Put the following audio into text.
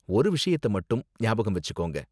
ஒரு விஷயத்தை மட்டும் ஞாபகம் வெச்சிக்கோங்க.